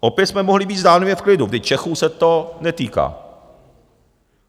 Opět jsme mohli být zdánlivě v klidu, kdy Čechů se to netýká.